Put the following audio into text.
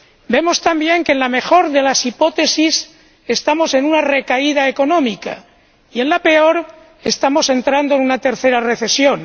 Vemos también que, en la mejor de las hipótesis, estamos en una recaída económica y, en la peor, estamos entrando en una tercera recesión.